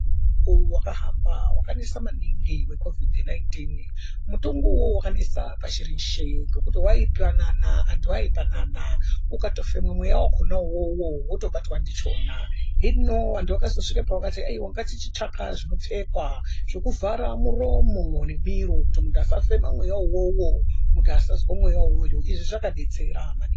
Mukuwo wakahamba wakanesa maningi weCovid 19 mutongu uwowo wakanesa pashi reshe ngekuti waipanana antu aipanana ukatofema mweya wakona uwowo wotobatwa ndichona hino vantu vakazosvike pavakati haiwa ngatichitsvaka zvinopfekwa zvokuvhara muromo nemiro kuti muntu asafema mweya uwowo muntu asazwe mweya uwowo izvi zvakadetsera maningi.